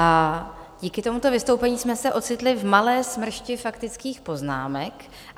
A díky tomuto vystoupení jsme se ocitli v malé smršti faktických poznámek.